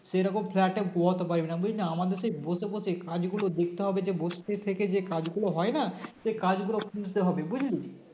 সেরকম Flat এ পোষাতে পারবি না বুঝলি আমাদের সেই বসে বসেই কাজগুলো দেখতে হবে যে বসে থেকে যে কাজ গুলো হয়না সে কাজ গুলো খুঁজতে হবে বুঝলি